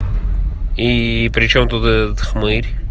и при чём тут мы